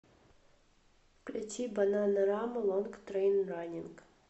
включи бананарама лонг трэйн раннинг